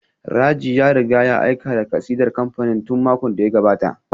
Raji ya riga ya aika da kasidar kamfanin tun makon da ya gabata